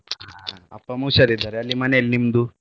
ಹಾ ಅಪ್ಪ ಅಮ್ಮ ಹುಷಾರಿದ್ದಾರೆ ಅಲ್ಲಿ ಮನೆಯಲ್ ನಿಮ್ದು?